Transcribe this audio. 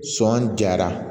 Sɔn jara